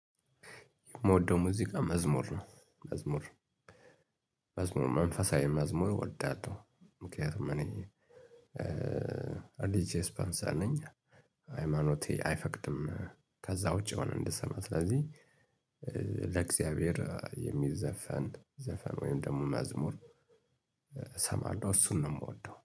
የምወደው ሙዚቃ መዝሙር ነው። መዝሙር መዝሙር መንፈሳዊ መዝሙር እወዳለሁ። ምክንያቱም እኔ አሊጄ ስፖንሰር ነኝ። ሃይማኖቴ አይፈቅድም ከዛ ውጪ የሆነ እንድሰማ ስለዚህ ለእግዚአብሔር የሚዘፈን ዘፈን ወይም ደግሞ መዝሙር። እሰማለሁ እሱን ነው የምወደው